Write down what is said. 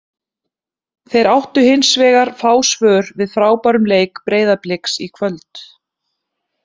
Þeir áttu hins vegar fá svör við frábærum leik Breiðabliks í kvöld.